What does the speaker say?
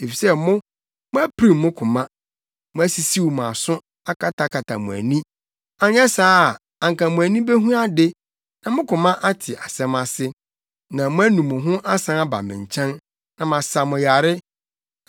Efisɛ mo, moapirim mo koma; moasisiw mo aso, akatakata mo ani. Ɛnyɛ saa a, anka mo ani behu ade, na mo koma ate asɛm ase, na moanu mo ho asan aba me nkyɛn, na masa mo yare.”